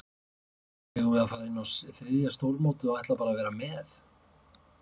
Eigum við að fara inn á þriðja stórmótið og ætla bara að vera með?